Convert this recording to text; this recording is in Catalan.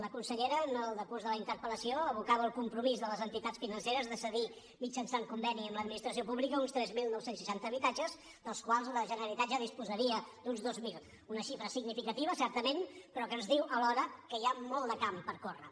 la consellera en el decurs de la interpel·lació evocava el compromís de les entitats financeres de cedir mitjançant conveni amb l’administració pública uns tres mil nou cents i seixanta habitatges dels quals la generalitat ja disposaria d’uns dos mil una xifra significativa certament però que ens diu alhora que hi ha molt de camp per córrer